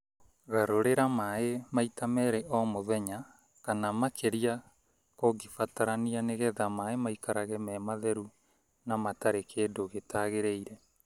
Garũragĩra maaĩ maita merĩ o mũthenya kana makĩria kũngĩbatarania nĩgetha maaĩ maikarage me matheru na matarĩ na kĩndũ gĩtagĩrĩire.